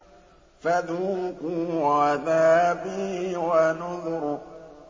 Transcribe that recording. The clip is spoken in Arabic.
فَذُوقُوا عَذَابِي وَنُذُرِ